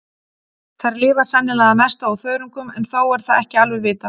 Þær lifa sennilega að mestu á þörungum en þó er það ekki alveg vitað.